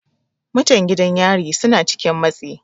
Mutan gidan yari suna cikin matsi.